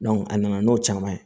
a nana n'o caman ye